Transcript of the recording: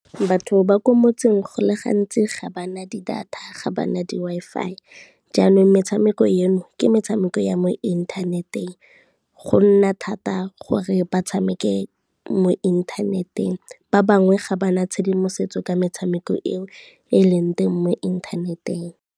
Batho ba ko motseng go le gantsi ga ba na di-data ga bana di-Wi-Fi, jaanong metshameko eno ke metshameko ya mo inthaneteng, go nna thata gore ba tshameke mo inthaneteng. Ba bangwe ga ba na tshedimosetso ka metshameko eo e e leng teng mo inthaneteng.